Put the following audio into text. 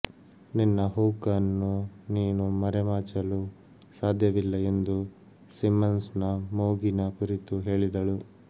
ನಿನ್ನ ಹೂಕ್ ಅನ್ನು ನೀನು ಮರೆಮಾಚಲು ಸಾಧ್ಯವಿಲ್ಲ ಎಂದು ಸಿಮ್ಮನ್ಸ್ ನ ಮೂಗಿನ ಕುರಿತು ಹೇಳಿದಳು